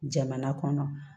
Jamana kɔnɔ